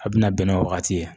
A bina bɛn n'o wagati ye